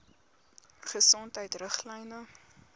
gesondheidriglyne